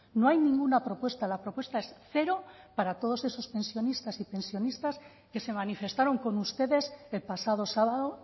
no hay ninguna propuesta la propuesta es cero para todos esos pensionistas y pensionistas que se manifestaron con ustedes el pasado sábado